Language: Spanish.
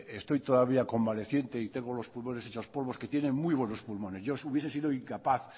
estoy todavía convaleciente y tengo los pulmones hechos polvo que tienen muy buenos pulmones yo hubiera sido incapaz